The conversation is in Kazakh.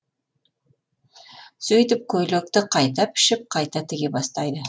сөйтіп көйлекті қайта пішіп қайта тіге бастайды